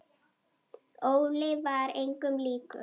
Óli var engum líkur.